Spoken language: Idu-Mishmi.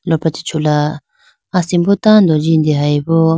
lopra chee chula asimbo tando jindeyi bo.